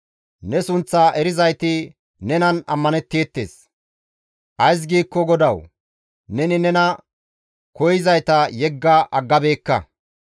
Ne sunththa erizayti nenan ammanetteettes; ays giikko GODAWU! Neni nena koyzayta yegga aggabeekka.